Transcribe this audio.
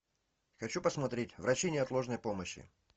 хочу посмотреть врачи неотложной помощи